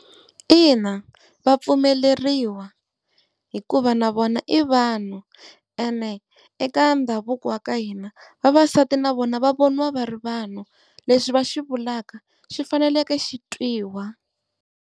Ina, vapfumeleriwa hikuva na vona i vanhu, ene eka ndhavuko wa ka hina vavasati na vona va voniwa va ri vanhu, leswi va xivulaka xi faneleke xi twiwa.